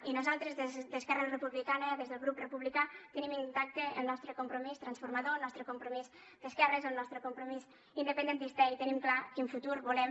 i nosaltres des d’esquerra republicana des del grup republicà tenim intacte el nostre compromís transformador el nostre compromís d’esquerres el nostre compromís independentista i tenim clar quin futur volem